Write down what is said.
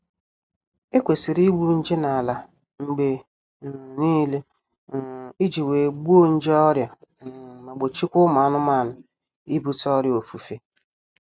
E kwesịrị igbu nje n'ala mgbe um niile um iji wee gbuo nje ọrịa um ma gbochikwaa ụmụ anụmanụ ibute ọrịa ofufe